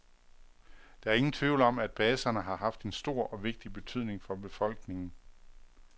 Der er ingen tvivl om, at baserne har haft en stor og vigtig betydning for befolkningen.